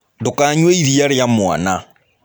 Ndũkanyue iria rĩa mwana.